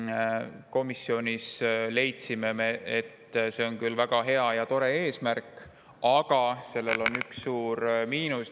Me komisjonis leidsime, et see on väga hea ja tore eesmärk, aga sellel on üks suur miinus.